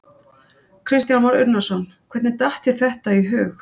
Kristján Már Unnarsson: Hvernig datt þér þetta í hug?